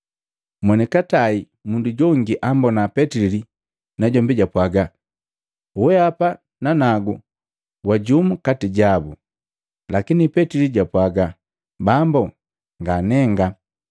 Monikatai, mundu jongi ambona Petili, najombi japwaaga, “Weapa na nanagu wa jumu kati jabu!” Lakini Petili japwaaga, “Bambo, nganenga.”